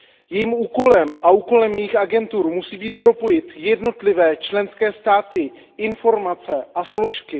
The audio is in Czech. Jejím úkolem a úkolem jejích agentur musí být propojit jednotlivé členské státy, informace a složky.